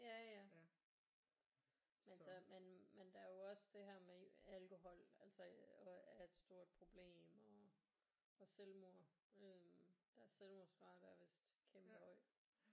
Ja ja men så men men der er jo også det her med alkohol altså og er et stort problem og og selvmord øh deres selvmordsrate er vist kæmpe høj